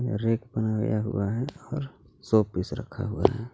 Rack बनाया हुआ है और शो पीस रखा हुआ है।